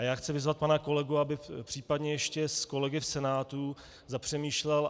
A já chci vyzvat pana kolegu, aby případně ještě s kolegy v Senátu zapřemýšlel.